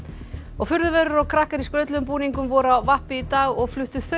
furðuverur og krakkar í skrautlegum búningum voru á vappi í dag og fluttu